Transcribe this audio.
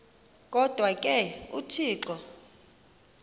kodwa ke uthixo